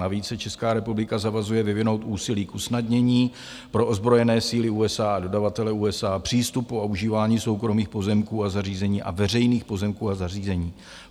Navíc se Česká republika zavazuje vyvinout úsilí k usnadnění pro ozbrojené síly USA a dodavatele USA přístupu a užívání soukromých pozemků a zařízení a veřejných pozemků a zařízení.